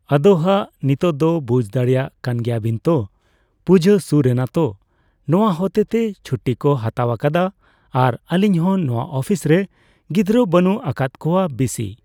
ᱟᱫᱚ ᱦᱟᱸᱜ ᱱᱤᱛᱚᱜ ᱫᱚ ᱵᱩᱡ ᱫᱟᱲᱮᱜ ᱠᱟᱱ ᱜᱮᱭᱟ ᱵᱤᱱ ᱛᱚ ᱯᱩᱡᱟᱹ ᱥᱩᱨ ᱮᱱᱟ ᱛᱚ᱾ ᱱᱚᱣᱟ ᱦᱚᱛᱮᱛᱮ ᱪᱷᱩᱴᱤ ᱠᱚ ᱦᱟᱛᱟᱣ ᱟᱠᱟᱫᱟ ᱟᱨ ᱟᱹᱞᱤᱧ ᱦᱚᱸ ᱱᱚᱣᱟ ᱳᱯᱷᱤᱥ ᱨᱮ ᱜᱤᱫᱽᱨᱟᱹ ᱵᱟᱹᱱᱩᱜ ᱟᱠᱟᱫ ᱠᱚᱣᱟ ᱵᱤᱥᱤ ᱼᱼᱼ᱾